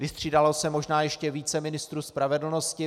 Vystřídalo se možná ještě více ministrů spravedlnosti.